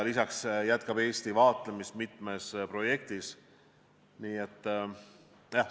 Lisaks jätkab Eesti vaatlemist mitme projekti raames.